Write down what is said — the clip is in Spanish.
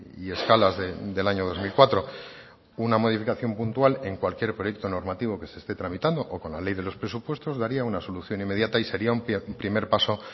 y escalas del año dos mil cuatro una modificación puntual en cualquier proyecto normativo que se esté tramitando que con la ley de los presupuestos daría una solución inmediata y sería un primer paso